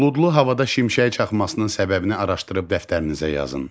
Buludlu havada şimşək çaxmasının səbəbini araşdırıb dəftərinizə yazın.